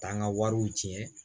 Taa n ka wariw ci